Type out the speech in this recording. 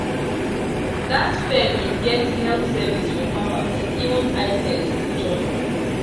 that fair been get health service for farmers even eye test join